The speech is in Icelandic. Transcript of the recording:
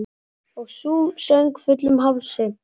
Og sú söng, fullum hálsi!